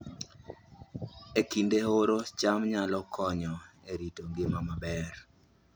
E kinde oro, cham nyalo konyo e rito ngima maber